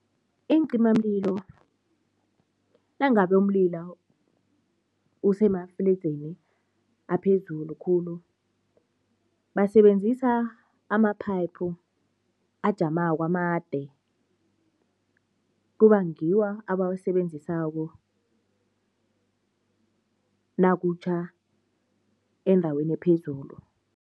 Iincimamlilo nangabe umlilo usemafledzini aphezulu khulu, basebenzisa ama-pipe ajamako amade, kuba ngiwo abawasebenzisako nakutjha endaweni ephezulu.